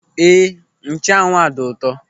Éè, nchanwụ a dị ụtọ.